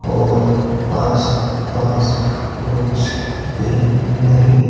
और आस पास कुछ भी नहीं--